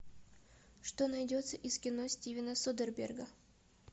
что найдется из кино стивена содерберга